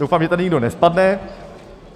Doufám, že tady nikdo nespadne.